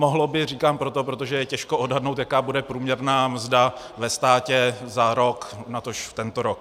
"Mohlo by" říkám proto, protože je těžko odhadnout, jaká bude průměrná mzda ve státě za rok, natož tento rok.